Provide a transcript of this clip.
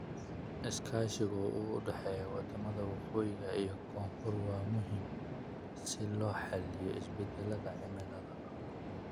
Iskaashiga u dhexeeya wadamada waqooyi iyo koonfur waa muhiim si loo xalliyo isbedelka cimilada.